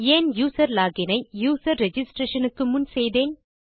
ஏன் user login ஐ user registration க்கு முன் செய்தேன்